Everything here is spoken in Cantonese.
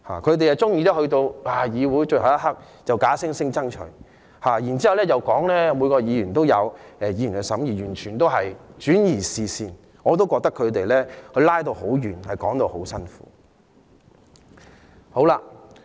反對派議員喜歡在審議最後一刻才假惺惺說要爭取，然後說每位議員都有權審議法例，完全是轉移視線，我覺得他們扯得很遠，說法很牽強。